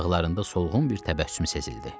Dodaqlarında solğun bir təbəssüm sezildi.